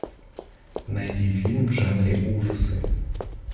найди фильм в жанре ужасы